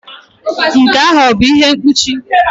Nke ahụ ọ bụ ihe mkpuchi?